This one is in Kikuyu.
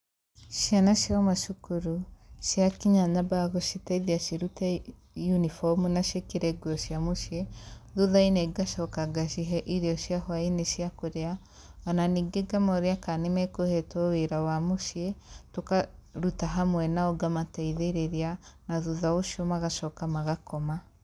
Ciana ciauma thukuru ciakinya nyambaga guciteithia cirute unibomu na ciĩkĩrenguo cia mũciĩ na thuthainĩ ngacoka ngacihe irio cia hwainĩ cia kũrĩa ningĩ ngamoria kana nĩmekũhetwo wĩra wa mũciĩ tũkaruta hamwe nao ngamateithĩrĩria na thutha ũcio magacoka magakoma